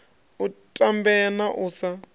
u tambea na u sa